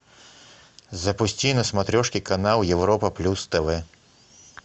запусти на смотрешке канал европа плюс тв